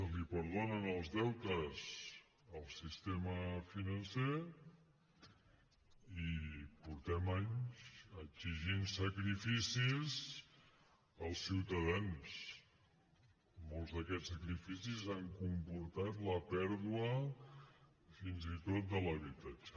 es perdonen els deutes al sistema financer i fa anys que exigim sacrificis als ciutadans i molts d’aquests sacrificis han comportat la pèrdua fins i tot de l’habitatge